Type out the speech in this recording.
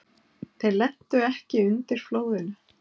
Þeir lentu ekki undir flóðinu.